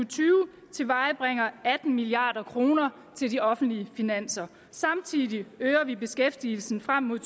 tyve tilvejebringer atten milliard kroner til de offentlige finanser samtidig øger vi beskæftigelsen frem mod